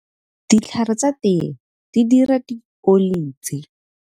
Ditlhare tsa tee di dira dioli tse.